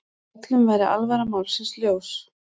Öllum væri alvara málsins ljós.